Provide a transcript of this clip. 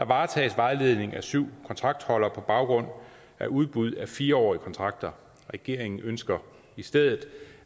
varetages vejledningen af syv kontraktholdere på baggrund af udbuddet af fire årige kontrakter regeringen ønsker i stedet